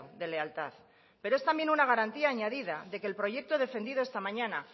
de lealtad pero es también una garantía añadida de que el proyecto defendido esta mañana